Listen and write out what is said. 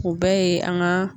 O bɛɛ ye an ga